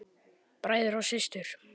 Bræður og systur!